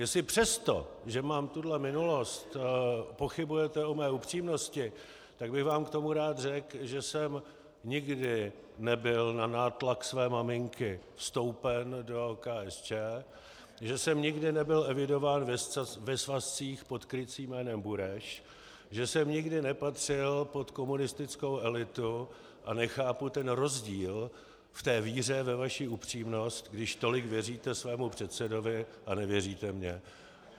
Jestli přesto, že mám tuhle minulost, pochybujete o mé upřímnosti, tak bych vám k tomu rád řekl, že jsem nikdy nebyl na nátlak své maminky vstoupen do KSČ, že jsem nikdy nebyl evidován ve svazcích pod krycím jménem Bureš, že jsem nikdy nepatřil pod komunistickou elitu, a nechápu ten rozdíl v té víře ve vaši upřímnost, když tolik věříte svému předsedovi a nevěříte mně.